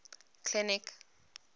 clinic